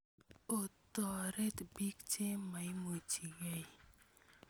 Otoret piik che maimuchi kei